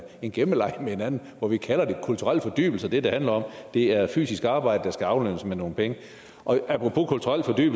en gemmeleg hvor vi kalder det kulturel fordybelse det det handler om er fysisk arbejde der skal aflønnes med nogle penge apropos kulturel